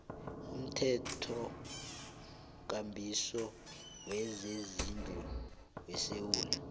umthethokambiso wezezindlu wesewula